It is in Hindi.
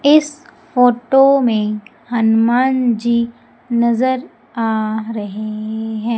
इस फोटो में हनुमान जी नजर आ रहे हैं।